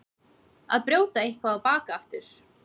Að brjóta eitthvað á bak aftur